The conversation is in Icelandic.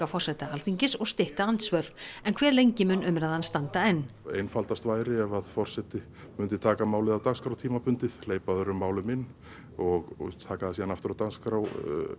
forseta Alþingis og stytta andsvör en hve lengi mun umræðan standa enn þannig einfaldast væri ef forseti myndi taka málið af dagskrá tímabundið hleypa öðrum málum inn og taka það síðan aftur á dagskrá